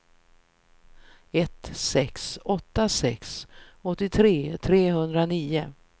ett sex åtta sex åttiotre trehundranio